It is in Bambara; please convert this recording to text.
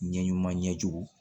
Ɲɛ ɲuman ɲɛjugu